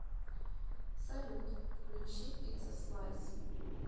салют включи пиццаслайс